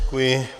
Děkuji.